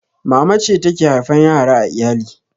Mama ce take haifan yara a iyali